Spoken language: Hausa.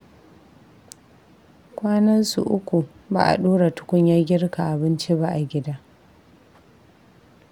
Kwanansu uku ba a ɗora tukunyar girka abinci ba a gida